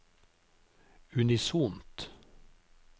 unisont